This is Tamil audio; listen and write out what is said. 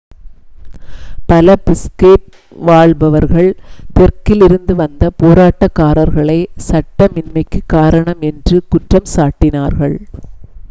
பல பிஷ்கேக் வாழ்பவர்கள் தெற்கிலிருந்து வந்த போராட்டக்காரர்களே சட்டமின்மைக்குக் காரணம் என்று குற்றம் சாட்டினார்கள்